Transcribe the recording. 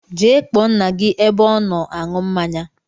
Gee kpọọ ńnà gị ebe ọ nọ aṅụ mmáñyá!!